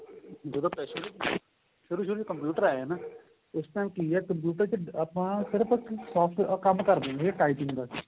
ਸ਼ੁਰੂ ਸ਼ੁਰੂ ਚ computer ਆਏ ਨਾ ਉਸ time ਕਿ ਏ computer ਵਿੱਚ ਆਪਾਂ ਸਿਰਫ਼ ਕੰਮ ਕਰਦੇ ਸੀਗੇ typing ਦਾ